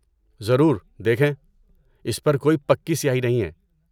ضرور۔ دیکھیں، اس پر کوئی پکی سیاہی نہیں ہے۔